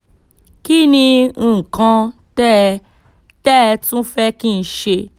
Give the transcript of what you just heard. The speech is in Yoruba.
kí ni nǹkan tẹ́ tẹ́ ẹ tún fẹ́ kí n ṣe